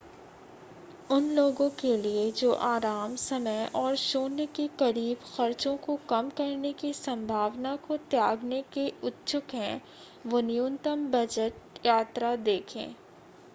उन लोगों के लिए जो आराम समय और शून्य के करीब खर्चों को कम करने की संभावना को त्यागने के इच्छुक हैं वे न्यूनतम बजट यात्रा देखें